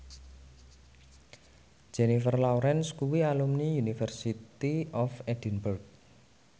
Jennifer Lawrence kuwi alumni University of Edinburgh